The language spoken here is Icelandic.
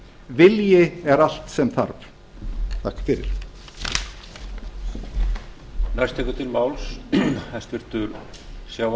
vilji er allt sem þarf takk fyrir á klárast í fyrri spólu